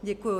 Děkuji.